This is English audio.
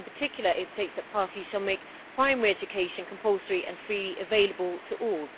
in particular it states that parties shall make primary education compulsory and freely available to all.